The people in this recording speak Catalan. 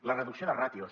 la reducció de ràtios